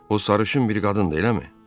O sarışın bir qadındır, eləmi?